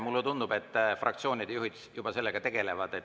Mulle tundub, et fraktsioonide juhid juba sellega tegelevad.